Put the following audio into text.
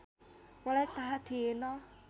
मलाई थाहा थिएन